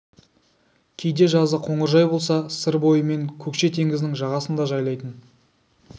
кейде жазы қоңыржай болса сыр бойы мен көкше теңіздің жағасын да жайлайтын